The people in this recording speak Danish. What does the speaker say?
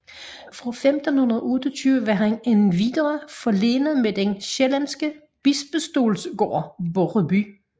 Fra 1528 var han endvidere forlenet med den sjællandske bispestols gård Borreby